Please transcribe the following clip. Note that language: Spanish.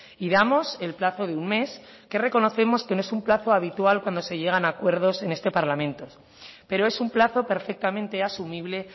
y damos el plazo de un mes que reconocemos que no es un plazo habitual cuando se llegan a acuerdos en este parlamento pero es un plazo perfectamente asumible